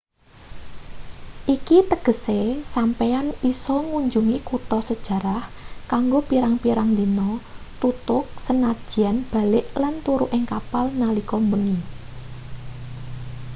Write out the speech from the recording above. iki tegese sampeyan isa ngunjungi kutha sejarah kanggo pirang-pirang dina tutug sanajan balik lan turu ing kapal nalika bengi